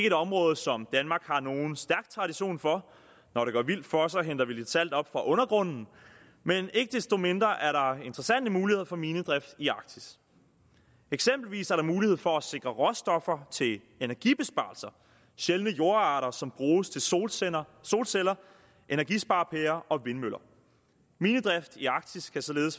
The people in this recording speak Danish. et område som danmark har nogen stærk tradition for når det går vildt for sig henter vi lidt salt op fra undergrunden men ikke desto mindre er der interessante muligheder for minedrift i arktis eksempelvis er der mulighed for at sikre råstoffer til energibesparelser sjældne jordarter som bruges til solceller solceller energisparepærer og vindmøller minedrift i arktis kan således